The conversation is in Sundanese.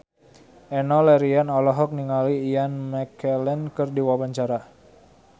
Enno Lerian olohok ningali Ian McKellen keur diwawancara